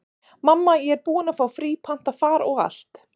Mamma, ég er búin að fá frí, panta far og allt.